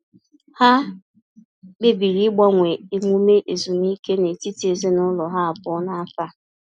Ha kpebiri ịgbanwe emume ezumike n’etiti ezinụlọ ha abụọ n’afọ a.